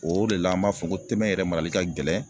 O de la an b'a fɔ ko tɛbɛn yɛrɛ marali ka gɛlɛn